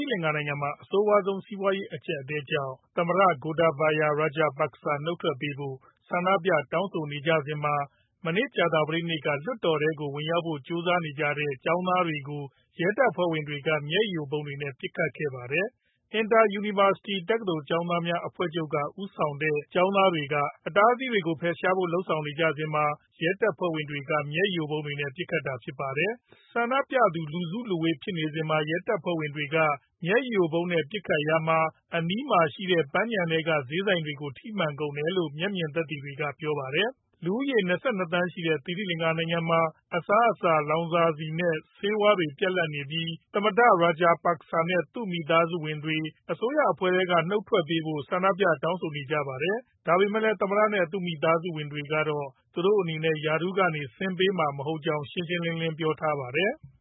င်ငံမှာ အဆိုးဝါးဆုံး စီးပွားရေးအကြပ်အတည်းကြောင့် သမ္မတ Gotabaya Rajapaksa နုတ်ထွက်ပေးဖို့ ဆန္ဒပြတောင်းဆိုနေကြစဉ်မှာ ကြာသပတေးနေ့က သိရီလင်္ကာလွှွတ်တော်ထဲကို ဝင်ရောက်ဖို့ ကြိုးစားတဲ့ ကျောင်းသားတွေကို ရဲတပ်ဖွဲ့က မျက်ရည်ယိုဗုံးတွေနဲ့ ပစ်ခတ် နှိမ်နင်းခဲ့ပါတယ်။ Inter University တက္ကသိုလ်ကျောင်းသားများ အဖွဲ့ချုပ်က ဦးဆောင်တဲ့ ကျောင်းသားတွေက အတားအဆီးတွေကို ဖယ်ရှားဖို့ လုပ်ဆောင်နေစဉ်မှာ ရဲတပ်ဖွဲ့က မျက်ရည်ယိုဗုံးတွေနဲ့ ပစ်ခတ်တာဖြစ်ပါတယ်။ ဆန္ဒပြသူ လူစုလူဝေးဖြစ်နေစဉ် ရဲတပ်ဖွဲ့က မျက်ရည်ယိုဗုံးနဲ့ ပစ်ခတ်ရာမှာ အနီးရှိ Uyana Park ဈေးဆိုင်တွေကို ထိမှန်ကုန်တယ်လို့ မျက်မြင်သက်သေတွေက ပြောပါတယ်။ လူဦးရေ ၂၂ သန်းရှိတဲ့ သိရီလင်္ကာနိုင်ငံမှာ အစားအစာ၊ လောင်စာဆီနဲ့ ဆေးဝါးတွေ ပြတ်လပ်နေပြီး သမ္မတ Rajapaksa နဲ့ သူမိသားဝင်တွေ အစိုးရအဖွဲ့ထဲက နုတ်ထွက်ပေးဖို့ ဆန္ဒပြတောင်းဆိုနေကြပါတယ်။ ဒါပေမဲ့လည်း သမ္မတနဲ့ သူမိသားဝင်တွေကတော့ သူတို့အနေနဲ့ ရာထူးကနေ ဆင်းပေမှာ မဟုတ်ကြောင်း ရှင်းရှင်းလင်းလင်း ပြောထားပါတယ်။